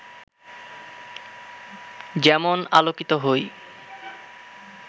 যেমন আলোকিত হই